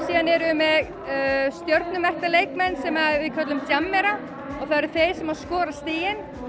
síðan erum við með leikmenn sem við köllum jammera og það eru þeir sem skora stigin